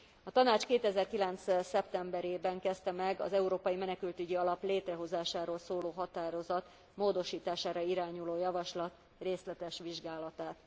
A Tanács 2009 szeptemberében kezdte meg az Európai Menekültügyi Alap létrehozásáról szóló határozat módosítására irányuló javaslat részletes vizsgálatát.